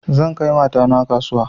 Zan kai mata na kasuwa